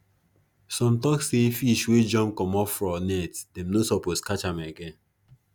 some tok say fish wey jump comot for net them no suppose catch am again